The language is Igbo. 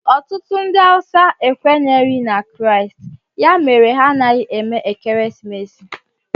Otutu ndi hausa ekwenyeghi na kraist, ya mere ha anaghi eme ekeresimesi